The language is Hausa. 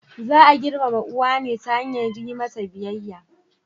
Za a girmama uwa ne ta hanyar yi mata biyayya.